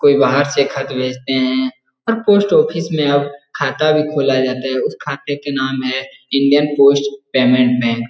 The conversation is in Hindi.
कोई बाहर से खत भेजते हैं और पोस्ट ऑफिस में अब खाता भी खोला जाता है उस खाते के नाम है इंडियन पोस्ट पेमेंट बैंक ।